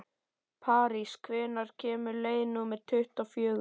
París, hvenær kemur leið númer tuttugu og fjögur?